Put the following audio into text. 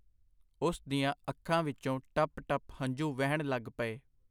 ਉਸ ਦੀਆਂ ਅੱਖਾਂ ਵਿਚੋਂ ਟੱਪ ਟੱਪ ਹੰਝੂ ਵਹਿਣ ਲਗ ਪਏ.